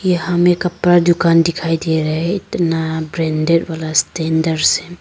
यहां में कपड़ा दुकान दिखाई दे रहे इतना ब्रांडेड वाला स्टैंडर्ड से।